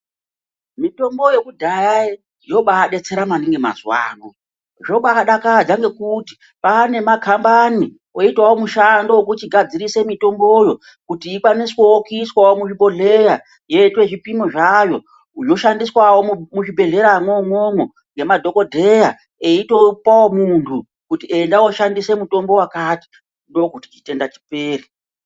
Mitombo yekudhaya yobadetsera maningi mazuwano. Zvabadakadza ngokuti kwane makhambani, oitawo mushando wokuchigadzirise mitomboyo kuti ikwaniswewo kuiswawo muzvibhodhleya yoitwe zvipimo zvayo zvoshandiswawo muzvibhehleya mwoumwomwo, ngemadhokodheya eitopawo muntu kuti enda woshandisa mutombo wakati ndokuti chitenda chipere.